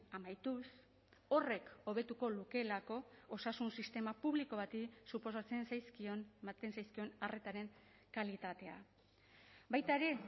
amaituz horrek hobetuko lukeelako osasun sistema publiko bati suposatzen zaizkion ematen zaizkion arretaren kalitatea baita ere